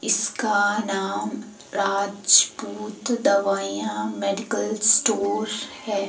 इसका नाम राजपूत दवाइयां मेडिकल स्टोर है।